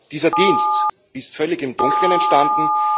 Dieser Dienst ist völlig im Dunkeln entstanden.